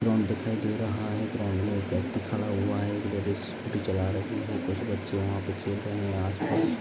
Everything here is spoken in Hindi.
ग्राउन्ड दिखाई दे रहा है ग्राउन्ड मे एक व्यक्ति खड़ा हुआ है जो स्कूटी चला रहे है कुछ बच्चे वहा पे खेल रहे है। आस-पास--